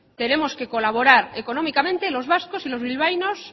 tenemos que colaborar económicamente los vascos y los bilbaínos